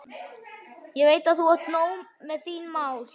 Ég veit að þú átt nóg með þín mál.